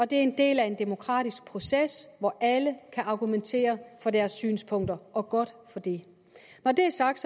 det er en del af en demokratisk proces hvor alle kan argumentere for deres synspunkter og godt for det når det er sagt